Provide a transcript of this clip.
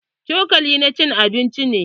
Cokali na cin abinci ne.